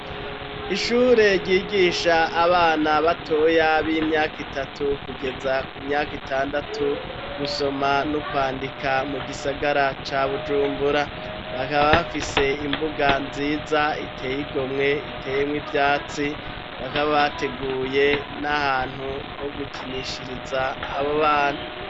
Ishure ryigisha abana batoya b'imyaka itatu kugeza ku myaka itandatu, gusoma no kwandika, mu gisagara ca Bujumbura, bakaba bafise imbuga nziza iteye igomwe iteyemwo ivyatsi, bakaba bateguye n'ahantu ho gukinishiriza abo bana.